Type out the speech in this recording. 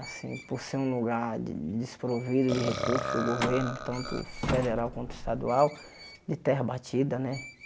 Assim, por ser um lugar de desprovido de recursos do governo, tanto federal quanto estadual, de terra batida, né?